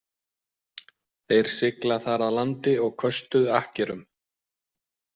Þeir sigla þar að landi og köstuðu akkerum.